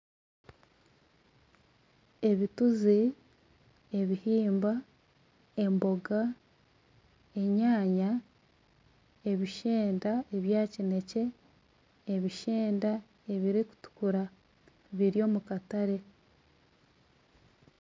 Ebituzi, ebihimba, emboga, enyaanya, ebishenda ebya kineekye, ebishenda ebirikutukura, biri omu katare